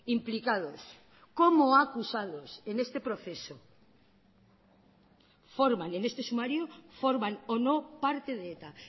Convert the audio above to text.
implicados como acusados en este proceso forman en este sumario forman o no parte de eta